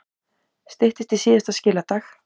Styttist í síðasta skiladag